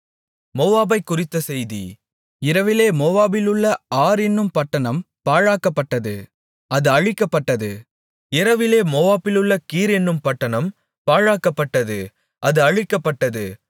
மோவாபைக்குறித்த செய்தி இரவிலே மோவாபிலுள்ள ஆர் என்னும் பட்டணம் பாழாக்கப்பட்டது அது அழிக்கப்பட்டது இரவிலே மோவாபிலுள்ள கீர் என்னும் பட்டணம் பாழாக்கப்பட்டது அது அழிக்கப்பட்டது